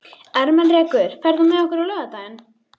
Ermenrekur, ferð þú með okkur á laugardaginn?